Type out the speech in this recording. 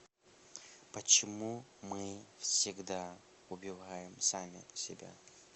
почему мы всегда убиваем сами себя